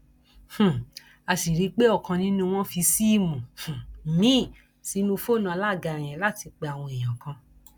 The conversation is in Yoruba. um a sì rí i pé ọkan nínú wọn fi síìmù um míín sínú fóònù alága yẹn láti pe àwọn èèyàn kan